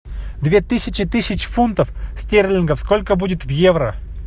две тысячи тысяч фунтов стерлингов сколько будет в евро